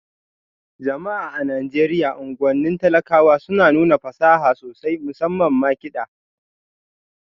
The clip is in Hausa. Jama'a a Najeriya unguwannin talakawa suna nuna fasaha sosai, musamman ma kiɗa